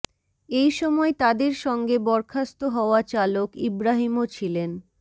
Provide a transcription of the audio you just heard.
এই সময় তাদের সঙ্গে বরখাস্ত হওয়া চালক ইব্রাহীমও ছিলেন